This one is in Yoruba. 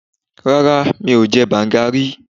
Rárá, mi ò jẹ banga rí.